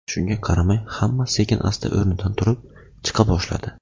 Shunga qaramay, hamma sekin-asta o‘rnidan turib, chiqa boshladi.